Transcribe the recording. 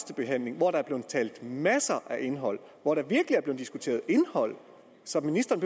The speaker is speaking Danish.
behandling hvor der er blevet talt masser af indhold hvor der virkelig er blevet diskuteret indhold så ministeren